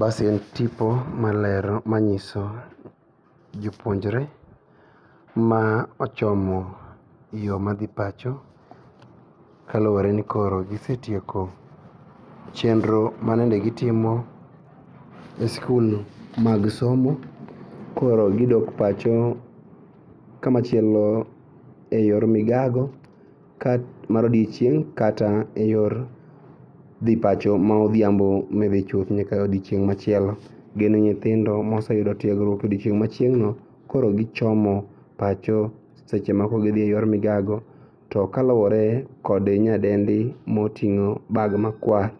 Basi en tipo malero, manyiso jopuonjre ma ochomo yoo madhi pacho kaluore ni koro gisetieko chenro ma nende gitimo e skul mag somo koro gidok pacho kamachielo e yor migago ka mar odiochieng' kata e yor dhi pacho ma odhiambo midhi chuth nyaka odiochieng' machielo. Gin nyithindo moseyudo tiegruok e odiochieng' machieng'no koro gichomo pacho. Sechemoko gidhie yor migago to kaluore kod nyadendi moting'o bag makwar